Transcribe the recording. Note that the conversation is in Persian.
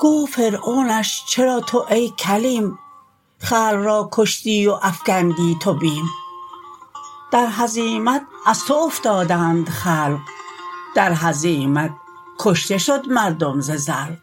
گفت فرعونش چرا تو ای کلیم خلق را کشتی و افکندی تو بیم در هزیمت از تو افتادند خلق در هزیمت کشته شد مردم ز زلق